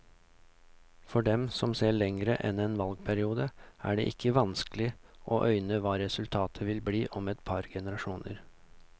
For dem som ser lenger enn en valgperiode, er det ikke vanskelig å øyne hva resultatet vil bli om et par generasjoner.